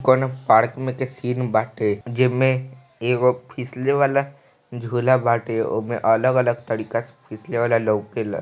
कोण पार्क म के सीन बाटे जेब मे एगो फिसले वाला झूला बाटे ओमे अलग अलग तरीका से फिसले वाला लौकेल--